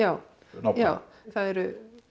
nákvæm já það eru